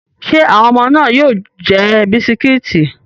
Ṣé àwọn ọmọ náà yóò jẹ bisikíìtì?